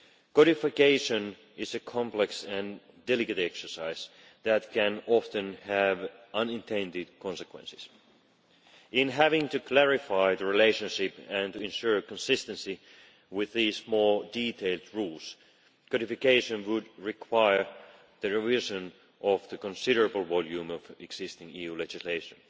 Codification is a complex and delicate exercise that can often have unintended consequences. In having to clarify the relationship and to ensure consistency with these more detailed rules, codification would require the revision of the considerable volume of existing EU legislation.